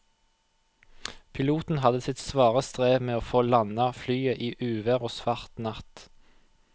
Piloten hadde sitt svare strev med å få landet flyet i uvær og svart natt.